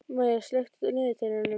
Maya, slökktu á niðurteljaranum.